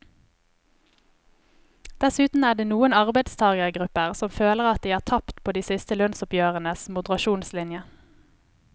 Dessuten er det noen arbeidstagergrupper som føler at de har tapt på de siste lønnsoppgjørenes moderasjonslinje.